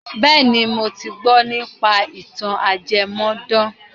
Bẹ́ẹ̀ni, mo ti gbọ́ nípa ìtàn ajẹmọ́dán.